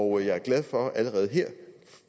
og jeg er glad for at jeg allerede